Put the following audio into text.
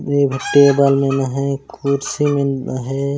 एक जो टेबल मिला हे कुर्सी मिला हे ।